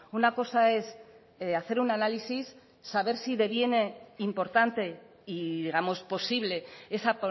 una cosa es hacer un análisis saber si deviene importante y digamos posible esa